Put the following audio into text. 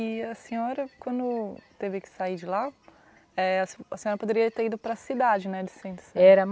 E a senhora, quando teve que sair de lá, eh, a a senhora poderia ter ido para a cidade, né, De Centro Sé. Era